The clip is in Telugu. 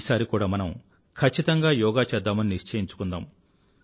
ఈసారి కూడా మనము ఖచ్చితంగా యోగా చేద్దామని నిశ్చయించుకుందాం